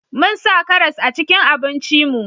Mun sa karas a cikin abinci mu